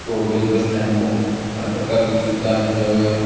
Roadways bus stand पर ऊं हर प्रकार की सुविधा मिल जावे है।